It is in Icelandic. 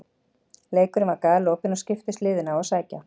Leikurinn var galopinn og skiptust liðin á að sækja.